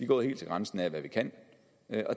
gået helt til grænsen af hvad vi kan